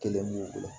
Kelen b'u bolo